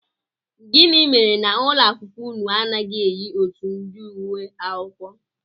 Gịnị mere na ụlọakwụkwọ unu anaghị eyi otu ụdị uwe akwụkwọ?